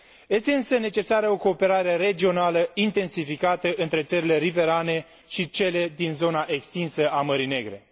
Este, însă, necesară o cooperare regională intensificată între țările riverane și cele din zona extinsă a Mării Negre.